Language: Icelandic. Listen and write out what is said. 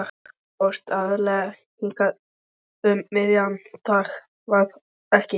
Þú fórst aðallega hingað um miðjan dag, var það ekki?